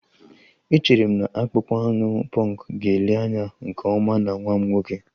Echere m na akpụkpọ anụ punk ga-ele anya nke ọma na nwa m nwoke